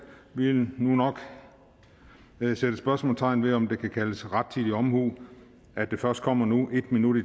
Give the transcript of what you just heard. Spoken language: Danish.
vi vil nu nok sætte spørgsmålstegn ved om det kan kaldes rettidig omhu at det først kommer nu en minut i